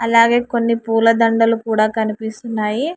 అలాగే కొన్ని పూలదండలు కూడా కనిపిస్తున్నాయి.